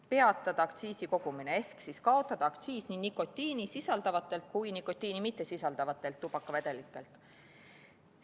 Peatada aktsiisi kogumine ehk siis kaotada aktsiis nii nikotiini sisaldavatelt kui ka nikotiini mittesisaldavatelt tubakavedelikelt.